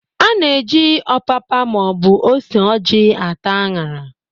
A na-eji ọpapa maọbụ ose ojị ata an̄ara.